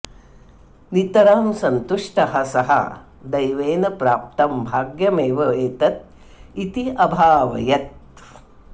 नितरां सन्तुष्टः सः दैवेन प्राप्तं भाग्यमेव एतत् इति अभावयत्